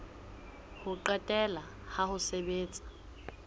ho qetela la ho sebetsa